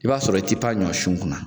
I b'a sɔrɔ i' ti pan ɲɔ sun kunna